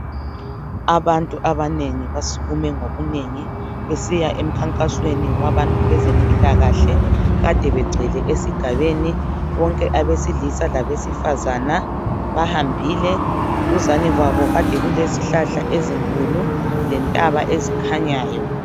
abantu abanengi basukume ngobunengi besiya emkhankasweni wabezempilakahle ade becwele esiigabeni bonke abesilisa labesifaza bahambiile duzane kwabo ade kulezihlahla ezinkulu lentaba ezikhanyayo